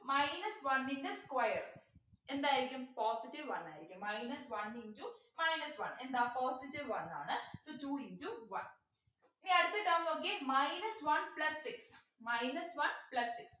minus one ൻ്റെ square എന്തായിരിക്കും positive one ആയിരിക്കും minus one into minus one എന്താ positive one ആണ് so two into one ഇനി അടുത്ത term നോക്കിയേ minus one plus six minus one plus six